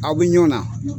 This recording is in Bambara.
Aw bɛ ɲɔn na